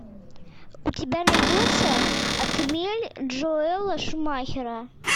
у тебя найдется отмель джоэла шумахера